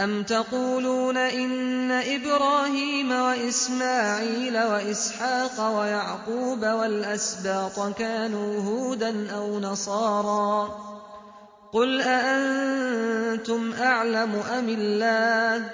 أَمْ تَقُولُونَ إِنَّ إِبْرَاهِيمَ وَإِسْمَاعِيلَ وَإِسْحَاقَ وَيَعْقُوبَ وَالْأَسْبَاطَ كَانُوا هُودًا أَوْ نَصَارَىٰ ۗ قُلْ أَأَنتُمْ أَعْلَمُ أَمِ اللَّهُ ۗ